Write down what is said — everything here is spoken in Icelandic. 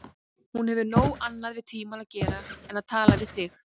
Hún hefur nóg annað við tímann að gera en tala við þig.